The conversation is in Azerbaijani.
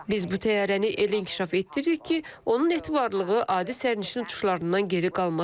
Biz bu təyyarəni elə inkişaf etdiririk ki, onun etibarlılığı adi sərnişin uçuşlarından geri qalmasın.